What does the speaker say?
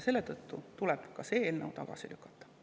Selle tõttu tuleb ka see eelnõu tagasi lükata.